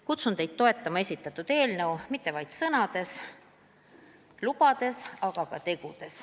Kutsun teid toetama esitatud eelnõu mitte ainult sõnades, mitte ainult lubadusi andes, vaid ka tegudes.